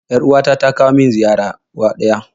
Yar uwa ta ta kawo mun ziyara uwa ɗaya